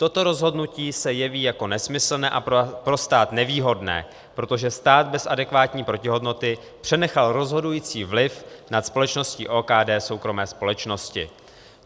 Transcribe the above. Toto rozhodnutí se jeví jako nesmyslné a pro stát nevýhodné, protože stát bez adekvátní protihodnoty přenechal rozhodující vliv nad společností OKD soukromé společnosti.